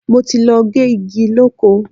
Mo ti lọ gé igi lóko.